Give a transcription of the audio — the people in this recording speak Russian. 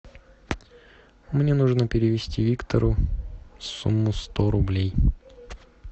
мне нужно перевести виктору сумму сто рублей